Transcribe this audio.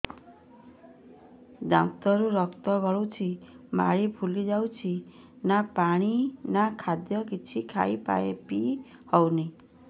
ଦାନ୍ତ ରୁ ରକ୍ତ ଗଳୁଛି ମାଢି ଫୁଲି ଯାଉଛି ନା ପାଣି ନା ଖାଦ୍ୟ କିଛି ଖାଇ ପିଇ ହେଉନି